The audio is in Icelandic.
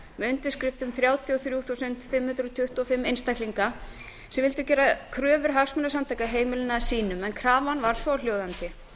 með undirskriftum þrjátíu og þrjú þúsund fimm hundruð tuttugu og fimm einstaklinga sem vildu gera kröfur hagsmunasamtaka heimilanna að sínum krafan var svohljóðandi